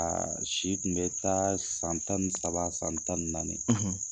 A si tun bɛ taa san tan ni saba , san tan ni naani.